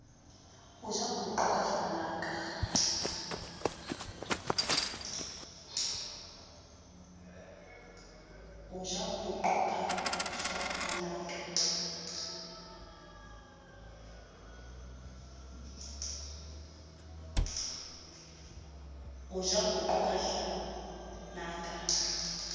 o ja poqo ka hlanaka